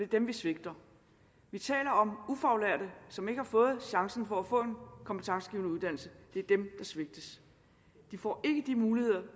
dem vi svigter vi taler om ufaglærte som ikke har fået chancen for at få kompetencegivende uddannelse det er dem der svigtes de får ikke de muligheder der